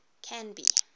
canby